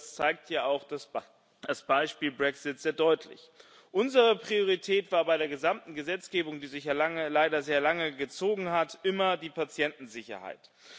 Das zeigt ja auch das Beispiel Brexit sehr deutlich, Unsere Priorität war bei der gesamten Gesetzgebung, die sich ja leider sehr lange gezogen hat, immer die Patientensicherheit.